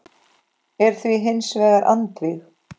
er því hins vegar andvíg.